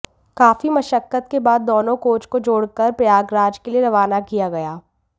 काफी मशक्कत के बाद दोनों कोच को जोड़कर प्रयागराज के लिए रवाना किया गया